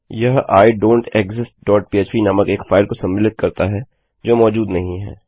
यह I don't exist dot पह्प नामक एक फाइल को सम्मिलित करता है जो मौजूद नहीं है